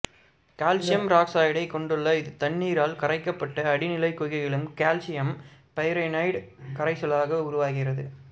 calcium ஈராக்சைடைக் கொண்டுள்ள இது தண்ணீரால் கரைக்கப்பட்டு அடிநிலைக் குகைகளில் கால்சியம் பைகார்பனேட்டு கரைசலாக உருவாகிறது